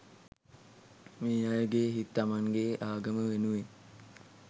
මේ අයගෙ හිත් තමන්ගේ ආගම වෙනුවෙන්